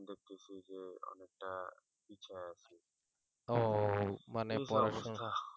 ও মানে